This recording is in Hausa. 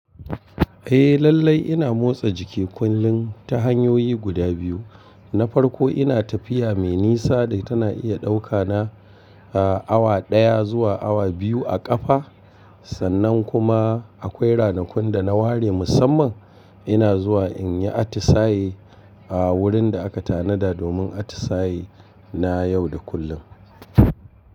Eh lallai ina motsa jiki kullum ta hanyoyi guda biyu. Na farko ina tafiya mai nisa da tana iya ɗauka na, a, awa ɗaya zuwa awa biyu a ƙafa. Sannan kuma akwai ranakun da na ware musamman ina zuwa in yi atisaye, a, wurin da aka tanada domin atisaye na yau da kullum.